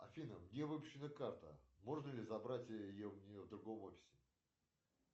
афина где выпущена карта можно ли забрать ее в другом офисе